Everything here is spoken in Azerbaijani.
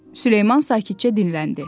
Süleyman sakitcə dilləndi.